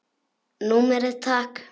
Númerið takk?